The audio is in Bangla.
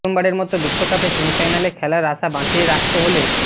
প্রথমবারের মতো বিশ্বকাপে সেমিফাইনালে খেলার আশা বাঁচিয়ে রাখতে হলে